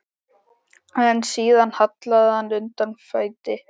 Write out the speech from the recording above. En síðan hallaði undan fæti.